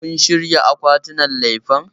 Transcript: Kun shirya akwatinan lefen?